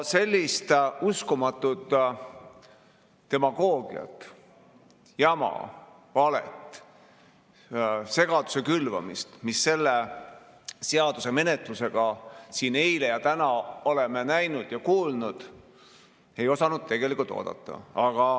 Sellist uskumatut demagoogiat, jama, valet, segaduse külvamist, mida me selle seaduse menetlusel siin eile ja täna oleme näinud ja kuulnud, ei osanud oodata.